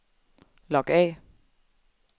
log af